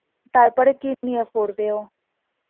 তারপরে কি নিয়ে পড়বে ও?